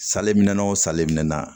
Saleminɛn o salenna